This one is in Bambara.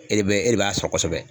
E de be e de b'a sɔn kosɛbɛ